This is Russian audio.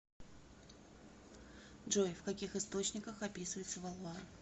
джой в каких источниках описывается валуа